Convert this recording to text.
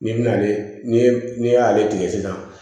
N'i bɛna ale n'i y'ale tigɛ sisan